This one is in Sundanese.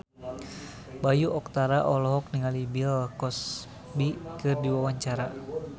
Bayu Octara olohok ningali Bill Cosby keur diwawancara